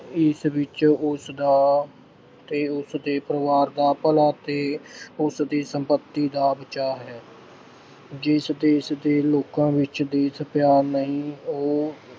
ਇਸ ਵਿੱਚ ਉਸਦਾ ਤੇ ਉਸਦੇ ਪਰਿਵਾਰ ਦਾ ਭਲਾ ਤੇ ਉਸਦੀ ਸੰਪਤੀ ਦਾ ਬਚਾਅ ਹੈ ਜਿਸ ਦੇਸ਼ ਦੇ ਲੋਕਾਂ ਵਿੱਚ ਦੇਸ਼ ਪਿਆਰ ਨਹੀਂ ਉਹ